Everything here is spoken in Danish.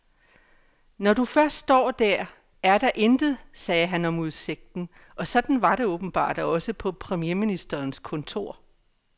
Når du først står der, er der intet, sagde han om udsigten, og sådan var det åbenbart også på premierministerens kontor.